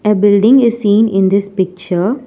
A building is seen in this picture.